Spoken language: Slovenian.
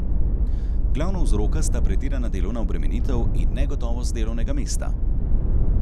Glavna vzroka sta pretirana delovna obremenitev in negotovost delovnega mesta.